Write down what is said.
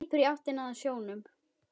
Hleypur í áttina að sjónum.